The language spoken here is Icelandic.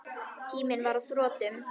Tíminn var á þrotum.